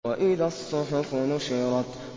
وَإِذَا الصُّحُفُ نُشِرَتْ